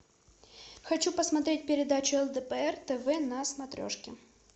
хочу посмотреть передачу лдпр тв на смотрешке